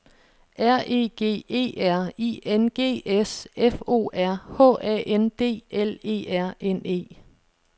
R E G E R I N G S F O R H A N D L E R N E